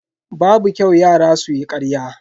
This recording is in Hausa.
Babu kyau yara su yi ƙarya.